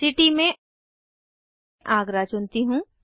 city में आगरा चुनती हूँ